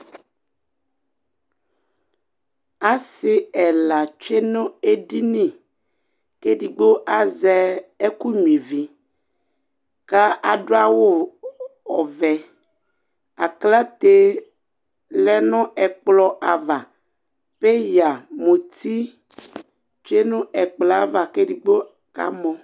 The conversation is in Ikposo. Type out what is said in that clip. assi ɛla tsue nu edini k'edigbo azɛ ɛkũ ɲyui vi ka adu awu ɔvɛ aklatɛ lɛ nu ɛkplɔ ava peya muti tsué nu ɛkplo ava k'edigbo kamɔ